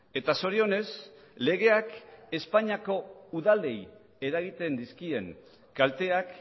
eta zorionez legeak espainiako udalei eragiten dizkien kalteak